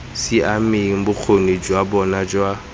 siameng bokgoni jwa bona jwa